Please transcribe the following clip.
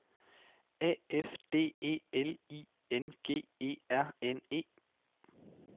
A F D E L I N G E R N E